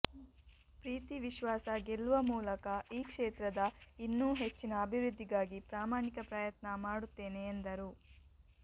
ಪ್ರೀತಿ ವಿಶ್ವಾಸ ಗೆಲ್ಲುವ ಮೂಲಕ ಈ ಕ್ಷೇತ್ರದ ಇನ್ನೂ ಹೆಚ್ಚಿನ ಅಭಿವೃದ್ಧಿಗಾಗಿ ಪ್ರಾಮಾಣಿಕ ಪ್ರಯತ್ನ ಮಾಡುತ್ತೇನೆ ಎಂದರು